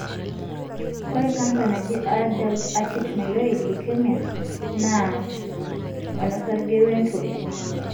ore canser naaji Adult acute myeloid leukemia(AML) na onosarge wentoli.